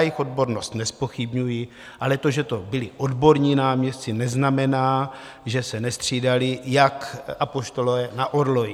Jejich odbornost nezpochybňuji, ale to, že to byli odborní náměstci, neznamená, že se nestřídali jak apoštolové na orloji.